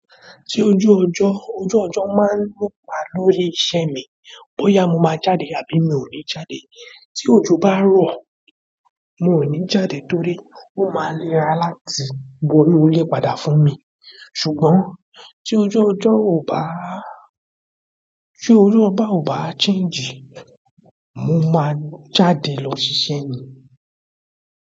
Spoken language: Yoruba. Tí ojú ọjọ́, ojú ọjọ́ máa ń rọ́pò lórí iṣẹ́ mi, bóyá mo máa jáde àbí mi ò ní jáde. Tí òjò bá rọ̀, mi ò ní jáde torí ó máa léra láti wọ inú ile padà fún mi. Ṣùgbọ́n tí ojú ọjọ́ ò bá, tí orí ọba ò bá change, mo máa jáde lọ ṣiṣẹ́ ni.